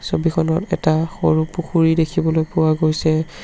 ছবিখনত এটা সৰু পুখুৰী দেখিবলৈ পোৱা গৈছে।